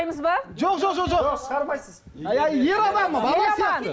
жоқ жоқ жоқ шығармайсыз ер адам